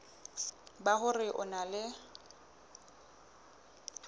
ba hore o na le